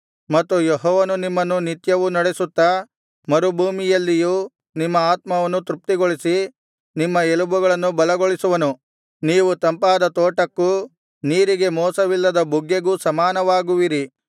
ಮತ್ತು ಯೆಹೋವನು ನಿಮ್ಮನ್ನು ನಿತ್ಯವೂ ನಡೆಸುತ್ತಾ ಮರುಭೂಮಿಯಲ್ಲಿಯೂ ನಿಮ್ಮ ಆತ್ಮವನ್ನು ತೃಪ್ತಿಗೊಳಿಸಿ ನಿಮ್ಮ ಎಲುಬುಗಳನ್ನು ಬಲಗೊಳಿಸುವನು ನೀವು ತಂಪಾದ ತೋಟಕ್ಕೂ ನೀರಿಗೆ ಮೋಸವಿಲ್ಲದ ಬುಗ್ಗೆಗೂ ಸಮಾನವಾಗುವಿರಿ